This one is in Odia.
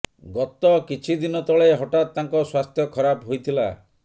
ଗତ କିଛି ଦିନ ତଳେ ହଠାତ୍ ତାଙ୍କ ସ୍ୱାସ୍ଥ୍ୟ ଖରାପ ହୋଇଥିଲା